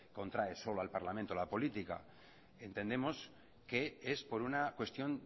contrae solo al parlamento la política entendemos que es por una cuestión